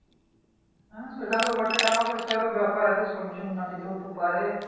হ্যাঁ সেটা তো বটেই টাকা-পয়সার আরো ব্যাপার আছে সব জন নাকি না যেতেও তো পারে